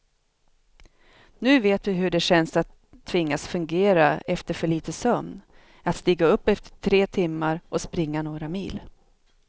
Nu vet vi hur det känns att tvingas fungera efter för lite sömn, att stiga upp efter tre timmar och springa några mil.